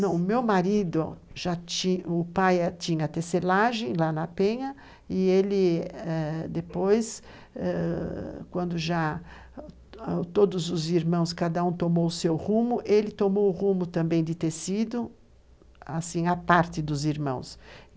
Não, o meu marido, já tinha, o pai tinha tecelagem lá na Penha, e ele depois eh, quando já todos os irmãos, cada um tomou o seu rumo, ele tomou o rumo também de tecido, assim, a parte dos irmãos.